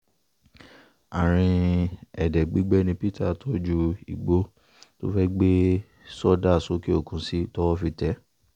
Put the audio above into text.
àárín èdè gbígbẹ ni peter tọ́jú igbó tó fẹ́ẹ́ gbé sọdá sókè òkun sí towó fi tẹ̀ ẹ́